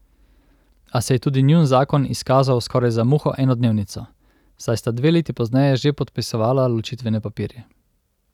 A se je tudi njun zakon izkazal skoraj za muho enodnevnico, saj sta dve leti pozneje že podpisovala ločitvene papirje.